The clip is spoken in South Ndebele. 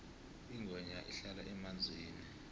ingwenya ihlala emanzini